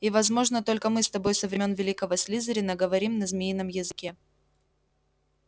и возможно только мы с тобой со времён великого слизерина говорим на змеином языке